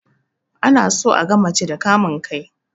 Ana so aga mace da kamun kai